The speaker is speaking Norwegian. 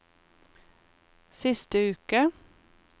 siste uke